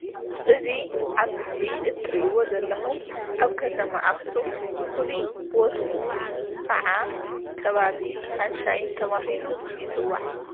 እዚ ኣብ ምስሊ እትርእይዎ ዘለኹም ኣብ ከተማ ኣኽሱም ፉሉይ ቦትኡ ኽዓ ከባቢ ሳንሻይን ተባሂሉ ይጽዋዕ።